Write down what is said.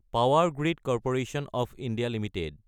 power grid corporation of India Ltd